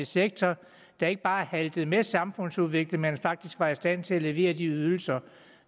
sektor der ikke bare haltede med samfundsudviklingen faktisk var i stand til at levere de ydelser